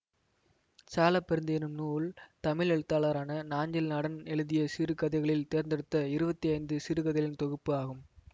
சாலப்பரிந்து என்னும் நூல் தமிழ் எழுத்தாளரான நாஞ்சில் நாடன் எழுதிய சிறுகதைகளில் தேர்தெடுத்த இருபத்தி ஐந்து சிறுகதைகளின் தொகுப்பு ஆகும்